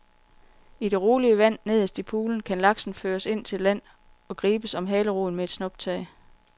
I det rolige vand nederst i poolen kan laksen føres ind til land og gribes om haleroden med et snuptag.